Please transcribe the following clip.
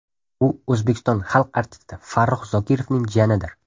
U O‘zbekiston Xalq artisti Farruh Zokirovning jiyanidir.